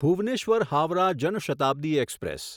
Bhubaneswar Howrah Jan Shatabdi express